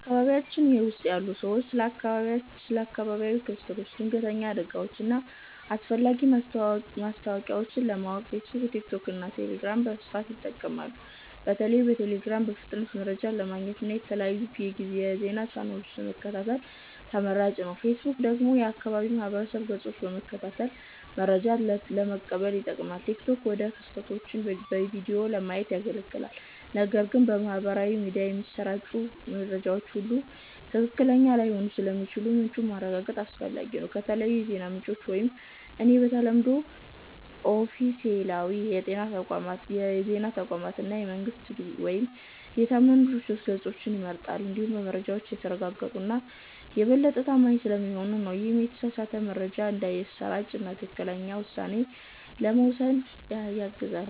በአካባቢያችን ያሉ ሰዎች ስለ አካባቢያዊ ክስተቶች፣ ድንገተኛ አደጋዎች እና አስፈላጊ ማስታወቂያዎች ለማወቅ ፌስቡክ፣ ቲክቶክ እና ቴሌግራምን በስፋት ይጠቀማሉ። በተለይም ቴሌግራም በፍጥነት መረጃ ለማግኘት እና የተለያዩ የዜና ቻናሎችን ለመከታተል ተመራጭ ነው። ፌስቡክ ደግሞ የአካባቢ ማህበረሰብ ገጾችን በመከታተል መረጃ ለመቀበል ይጠቅማል፣ ቲክቶክ ደግሞ ክስተቶችን በቪዲዮ ለማየት ያገለግላል። ነገር ግን በማህበራዊ ሚዲያ የሚሰራጩ መረጃዎች ሁሉ ትክክለኛ ላይሆኑ ስለሚችሉ ምንጩን ማረጋገጥ አስፈላጊ ነው። ከተለያዩ የዜና ምንጮች ውስጥ እኔ በተለምዶ ኦፊሴላዊ የዜና ተቋማትን እና የመንግስት ወይም የታመኑ ድርጅቶች ገጾችን እመርጣለሁ፤ ምክንያቱም መረጃዎቻቸው የተረጋገጡ እና የበለጠ ታማኝ ስለሚሆኑ ነው። ይህም የተሳሳተ መረጃ እንዳይሰራጭ እና ትክክለኛ ውሳኔ ለመውሰድ ያግዛል።